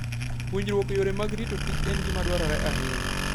Puonjruok yore mag rito Kich en gima dwarore ahinya.